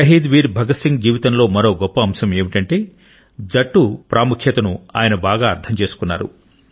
షహీద్ వీర్ భగత్ సింగ్ జీవితంలో మరో గొప్ప అంశం ఏమిటంటే జట్టు పని ప్రాముఖ్యతను ఆయన బాగా అర్థం చేసుకున్నాడు